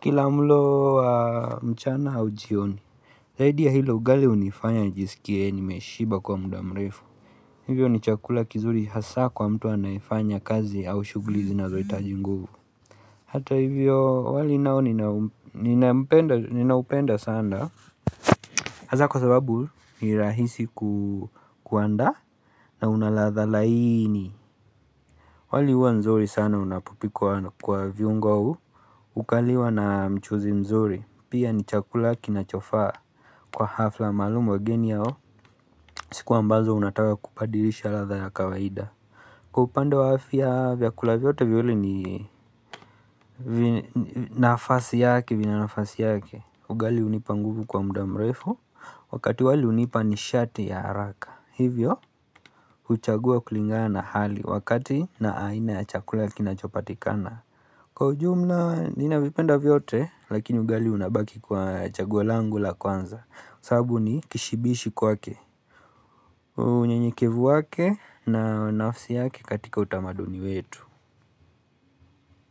Kila mlo wa mchana au jioni Zaidi ya hilo ugali hunifanya nijisikie nimeshiba kwa muda mrefu Hivyo ni chakula kizuri hasa kwa mtu anayefanya kazi au shughuli zinazohitaji nguvu Hata hivyo wali nao ninaupenda sana Hasa kwa sababu ni rahisi kuandaa na unaladha laini wali huwa nzuri sana unapopikwa kwa viungo au Ukaliwa na mchuzi mzuri Pia ni chakula kinachofaa Kwa hafla maalumu wageni yao siku ambazo unataka kubadirisha ladha ya kawaida Kwa upande wa afya vyakula vyote viwili ni nafasi yake, vina nafasi yake Ugali hunipa nguvu kwa muda mrefu Wakati wali hunipa nishati ya haraka Hivyo, huchagua kulingana na hali Wakati na aina ya chakula kinachopatikana Kwa ujumla, ninavipenda vyote Lakini ugali unabaki kwa chaguo langu la kwanza sababu ni kishibishi kwake unyenyekevu wake na nafsi yake katika utamaduni wetu.